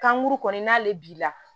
Kanguru kɔni n'ale b'i la